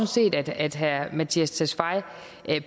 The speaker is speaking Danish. set at herre mattias tesfaye